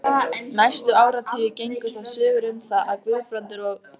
Næstu áratugi gengu þó sögur um það, að Guðbrandur og